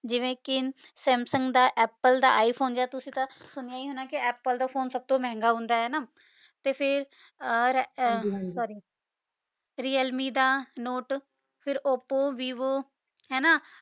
ਜਿਵੇਂ ਕੇ samsung ਦਾ apple ਦਾ i phone ਜੇਰਾ ਤੁਸੀਂ ਤਾਂ ਸੁਨਾਯਾ ਈ ਹੋਣਾ ਕੇ apple phone ਸਬ ਤੋਂ ਮੇਹ੍ਨ੍ਗਾ ਹੋਂਦਾ ਆਯ ਨਾ ਤੇ ਫੇਰ ਹਾਂਜੀ ਹਾਂਜੀ sorry realme ਦਾ note ਫੇਰ oppo vivo ਹੈਨਾ